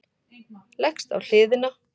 Leggst á hliðina.